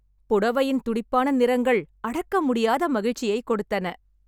புடவையின் துடிப்பான நிறங்கள் அடக்க முடியாத மகிழ்ச்சியை கொடுத்தன.